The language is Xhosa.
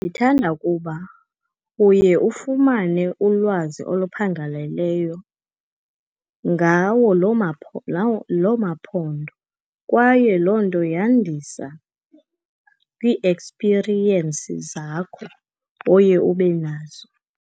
Ndithanda ukuba uye ufumane ulwazi olophangaleleyo ngawo loo maphondo. Kwaye loo nto yandisa kwiiekspiriyensi zakho oye ube nazo.